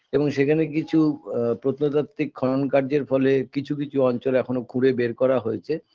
এবং সেখানে কিছু আ প্রত্নতাত্ত্বিক খনন কার্যের ফলে কিছু কিছু অঞ্চলে এখনো খুঁড়ে বের করা হয়েছে